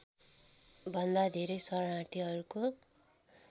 भन्दा धेरै शरणार्थीहरूको